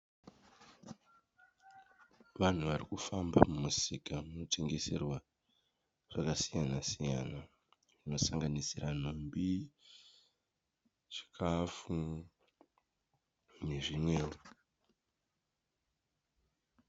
Vanhu vari kufamba mumusika munotengeserwa zvakasiyana siyana zvinosanganisira nhumbi chikafu nezvimwewo.